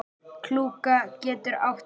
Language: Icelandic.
Klúka getur átt við